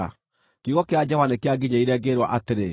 Kiugo kĩa Jehova nĩkĩanginyĩrĩire, ngĩĩrwo atĩrĩ: